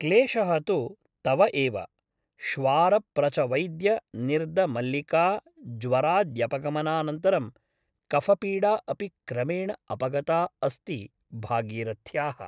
क्लेशः तु तव एव । श्वार प्रच वैद्य निर्द मल्लिका ज्वराद्यपगमानन्तरं कफपीडा अपि क्रमेण अपगता अस्ति भागीरथ्याः ।